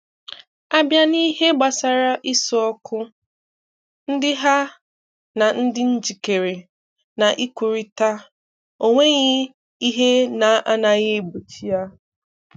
A bịà n’ìhè̀ gbasarà ìsùókù ndí hà um dị̀ njikere um ikwùrịtà, ọ̀ nwèghị ihè na-anaghị egbochi ya.